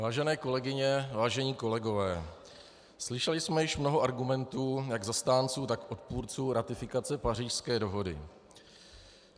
Vážené kolegyně, vážení kolegové, slyšeli jsme již mnoho argumentů jak zastánců, tak odpůrců ratifikace Pařížské dohody.